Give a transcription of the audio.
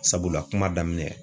Sabula kuma daminɛ